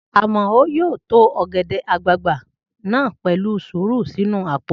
Amao yóò to ọ̀gẹ̀dẹ̀ àgbagbà náà pẹ̀lú sùúrù sínu àpò